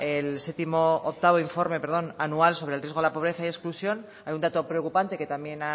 el octavo informe perdón anual sobre el riesgo de la pobreza y exclusión hay un dato preocupante que también